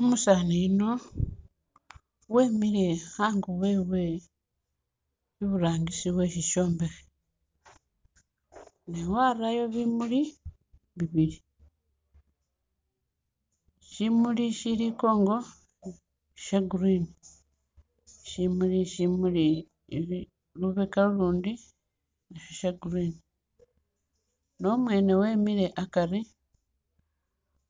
Umusaani yuuno wemile ango wewe iburangisi we shishombekhe newarayo bimuli bibili, shimuli ishili inkongo sha'green shimuli shimuli lubeka lulundi sha'green nomwene wemile akaari